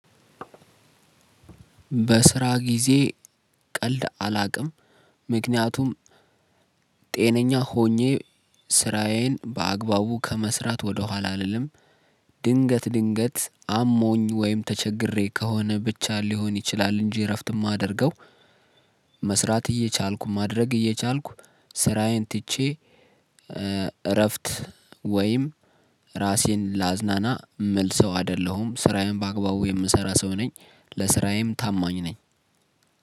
በስራ ጊዜ ቀልድ አላቅም። ምክንያቱም ጤነኛ ሆኜ ስራዬን በአግባቡ ከመስራት ወደኋላ አልልም። ድንገት ድንገት አሞኝ ወይም ተቸግሬ ከሆነ ብቻ ሊሆን ይችላል እንጂ እረፍት እማደርገው። መስራት እየቻልኩ ማድረግ እየቻልኩ ስራዬን ትቼ እ እረፍት ወይም ራሴን ላዝናና እምልሰው አይደለሁም። ስራዬን በአግባቡ የምሰራ ሰው ነኝ። ለስራዬም ታማኝ ነኝ።